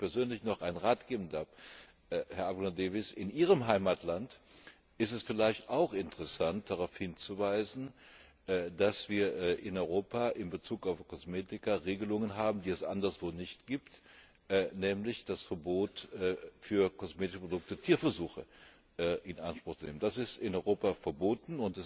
Wenn ich Ihnen persönlich noch einen Rat geben darf, Herr Abgeordneter Davies In Ihrem Heimatland ist es vielleicht auch interessant, darauf hinzuweisen, dass wir in Europa in Bezug auf Kosmetika Regelungen haben, die es anderswo nicht gibt, nämlich das Verbot, für kosmetische Produkte Tierversuche in Anspruch zu nehmen. Das ist in Europa verboten.